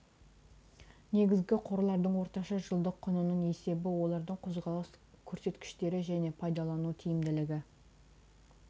негізгі қорлардың орташа жылдық құнының есебі олардың қозғалыс көрсеткіштері және пайдалану тиімділігі